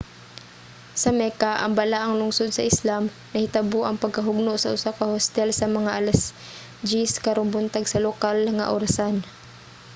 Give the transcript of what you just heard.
sa mecca ang balaang lungsod sa islam nahitabo ang pagkahugno sa usa ka hostel sa mga alas 10 karong buntag sa lokal nga orasan